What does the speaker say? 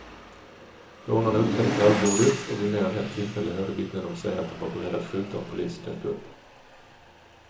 Rånarna uppträdde kallblodigt, och vid mer än ett tillfälle hörde vittnen dem säga att de var beredda att skjuta om polisen dök upp.